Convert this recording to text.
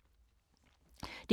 DR2